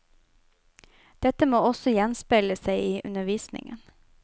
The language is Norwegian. Dette må også gjenspeile seg i undervisningen.